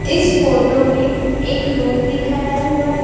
इस फोटो में एक रूम दिखाया हुआ है।